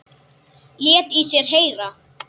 Lét í sér heyra.